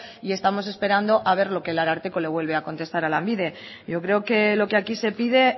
y estamos esperando a ver lo que el ararteko le vuelve a contestar a lanbide yo creo que lo que aquí se pide